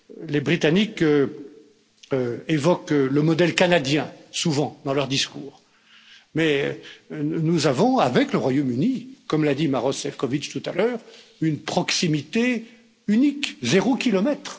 Les Britanniques évoquent souvent le modèle canadien dans leur discours, mais nous avons avec le Royaume Uni, comme l'a dit Maroš Šefčovič tout à l'heure, une proximité unique 0 kilomètre.